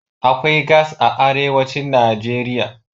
Akwai gas a arewacin Najeriya.